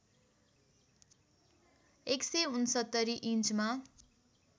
१६९ इन्चमा